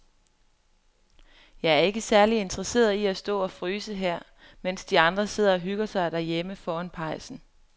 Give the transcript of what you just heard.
Jeg er ikke særlig interesseret i at stå og fryse her, mens de andre sidder og hygger sig derhjemme foran pejsen.